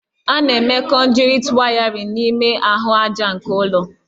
A na-eme kọnduitị wayarịn n'ime ahụ aja nke ụlọ